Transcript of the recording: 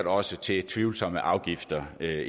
også til tvivlsomme afgifter jeg